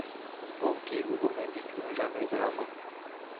окей гугл найди фильм в жанре драма